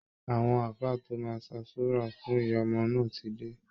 Àwọn ààfáà tó máa ṣàsúra fún ìyá ọmọ náà ti dé